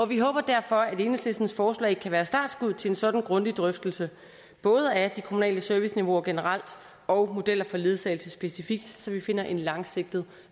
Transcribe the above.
vi håber derfor at enhedslistens forslag kan være startskuddet til en sådan grundig drøftelse både af det kommunale serviceniveau generelt og af modeller for ledsagelse specifikt så vi finder en langsigtet